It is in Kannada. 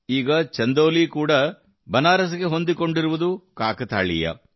ಈಗ ಚಂದೌಲಿ ಕೂಡ ಬನಾರಸ್ ಗೆ ಹೊಂದಿಕೊಂಡಿರುವುದು ಕಾಕತಾಳೀಯ